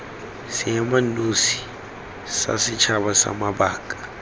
seemanosi sa setšhaba sa mabaka